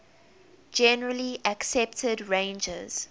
generally accepted ranges